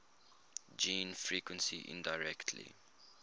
gene frequency indirectly